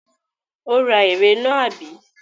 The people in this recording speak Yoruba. Ó ra ère náà, àbí?